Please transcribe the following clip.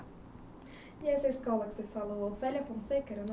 E essa escola que você falou, Félia Fonseca?